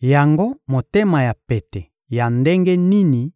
Yango motema ya pete ya ndenge nini